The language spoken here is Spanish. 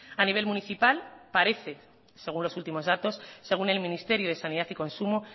a nivel municipal parece según los últimos datos según el ministerio de sanidad y consumo